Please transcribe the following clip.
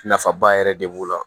Nafaba yɛrɛ de b'o la